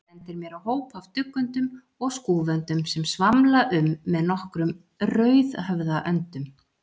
Hann bendir mér á hóp af duggöndum og skúföndum sem svamla um með nokkrum rauðhöfðaöndum.